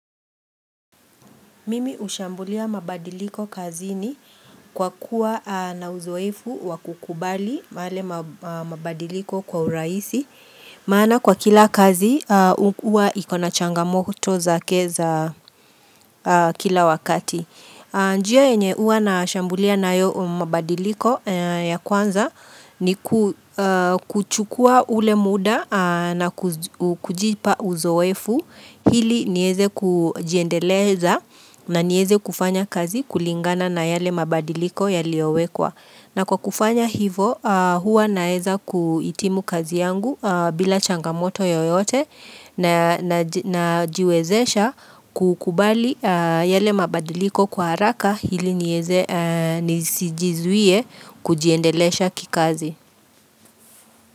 Mimi hushambulia mabadiliko kazini kwa kuwa na uzoefu wa kukubali male mabadiliko kwa uraisi maana kwa kila kazi huwa iko na changamoto zake za kila wakati njia yenye uwa nashambulia nayo mabadiliko ya kwanza ni kuchukua ule muda na kujipa uzoefu hili nieze kujiendeleza na nieze kufanya kazi kulingana na yale mabadiliko yaliowekwa. Na kwa kufanya hivo huwa naeza kuitimu kazi yangu bila changamoto yoyote najiwezesha kukubali yale mabadiliko kwa haraka hili nieze nisijizuie kujiendelesha kikazi.